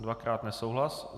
Dvakrát nesouhlas.